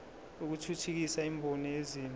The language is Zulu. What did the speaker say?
lokuthuthukisa imboni yezimoto